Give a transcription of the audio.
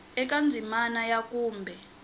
eka ndzimana ya a kumbe